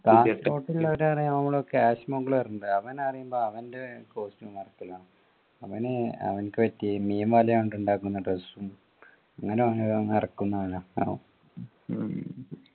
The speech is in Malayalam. കാസർഗോട്ട് ഉള്ളവരു പറയാ നമ്മളൊക്കെ ഉണ്ട് അവനറിയുമ്പോ അവൻ്റെ costume work ലാണ് അവനു അവനിക്ക് പറ്റിയ മീൻവലയൊണ്ട് ഉണ്ടാക്കുന്ന dress ഉം അങ്ങനെ ഓരോന്ന് ഇറക്കുന്ന അവനാ ഉം